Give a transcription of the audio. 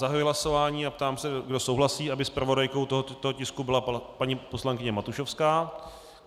Zahajuji hlasování a ptám se, kdo souhlasí, aby zpravodajkou tohoto tisku byla paní poslankyně Matušovská.